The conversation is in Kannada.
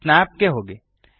ಸ್ನ್ಯಾಪ್ ಗೆ ಹೋಗಿ